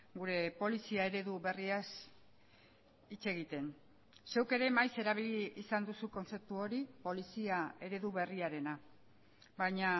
gure polizia eredu berriaz hitz egiten zuk ere maiz erabili izan duzu kontzeptu hori polizia eredu berriarena baina